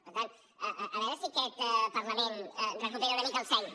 per tant a veure si aquest parlament recupera una mica el seny